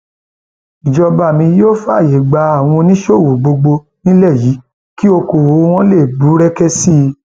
ìjọba mi yóò fààyè yóò fààyè gba àwọn oníṣòwò gbogbo nílẹ yìí kí ọkọọwọ wọn lè búrẹkẹ sí i